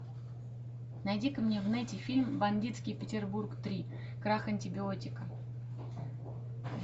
найди ка мне в нете фильм бандитский петербург три крах антибиотика